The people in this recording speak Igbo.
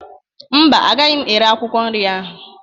Mba, agaghị m ere akwụkwọ nri ahụ